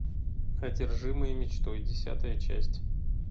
одержимые мечтой десятая часть